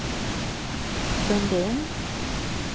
Sundin